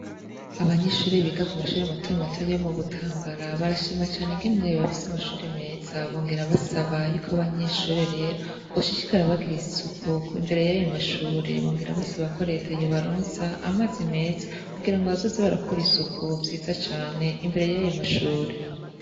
Abanyeshure biga ku mashure mato mato yo mu Butambara, barashima cane ingene bafise amashure meza, bongera basaba yuko abanyeshure boshishikara bagira isuku imbere y'ayo mashure, bongera basaba ko leta yobaronsa amazi meza kugira baze barakora isuku vyiza cane imbere y'ayo mashure.